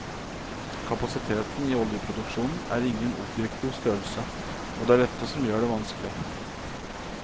Kapasiteten i oljeproduksjonen er ingen objektiv størrelse, og det er dette som gjøre det vanskelig.